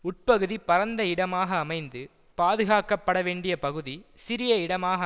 உட்பகுதி பரந்த இடமாக அமைந்து பாதுகாக்க படவேண்டிய பகுதி சிறிய இடமாக